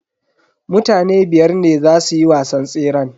Mutane biyar ne zasu yi wasan tseran.